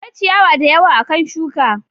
Akwai ciyawa da yawa akan shuka.